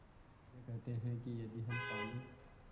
वे कहते हैं कि यदि हम पानी